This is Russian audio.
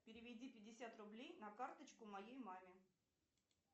переведи пятьдесят рублей на карточку моей маме